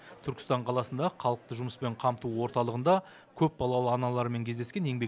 түркістан қаласындағы халықты жұмыспен қамту орталығында көпбалалы аналармен кездескен еңбек